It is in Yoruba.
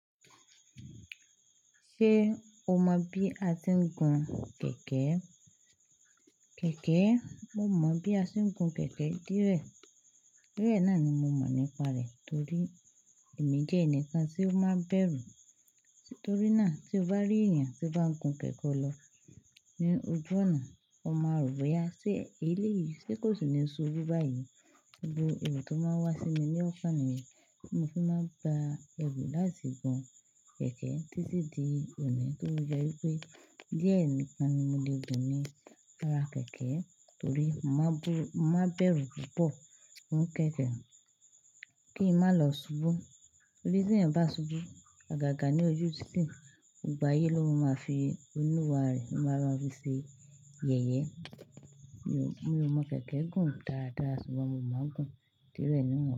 Ṣé o mọ bí a ti ń gun kẹ̀kẹ́? Kẹ̀kẹ́, mo mọ̀ bí a ṣe ń gun kẹ̀kẹ́ dírẹ́. Dire náà ni mo mọ̀ nípa rẹ̀ torí èmi jẹ́ ẹnìkan tí ó máa ń bẹ̀rù. Torí náà tí o bá rí èèyàn tí ó bá ń gun kẹ̀kẹ́ lọ ní ojú ọ̀nà, ó máa rò bi ó yá. Sé eléyìí, sé kò sì ní subú báyìí? Gbogbo èrò tó máa ń wá sí mi ní ọ̀kan nìyen, mo fi máa ń gba ẹrù láti gun kẹ̀kẹ́ títí di òní tofi jẹ́ wípé díẹ̀ nìkan ni mo le gùn ní ara kẹ̀kẹ́ torí mo máa bú-- mo má n bẹ̀rù púpọ̀ fun kẹ̀kẹ́ kí ń má lọ ṣubú. Torí tí ẹ̀eyan bá ṣubú agàgà ní ojú títì, gbogbo ayé ló máa oluwaa re, ó máa ma fi ṣe yẹ̀yẹ́. Mi ò, mi ò mọ kẹ̀kẹ́ gùn dára dára ṣùgbọ́n mo máa ń gun díẹ̀ rẹ́ nìkan.